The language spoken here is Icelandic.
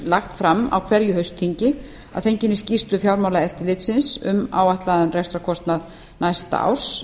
lagt fram á hverju haustþingi að fenginni skýrslu fjármálaeftirlitsins um áætlaðan rekstrarkostnað næsta árs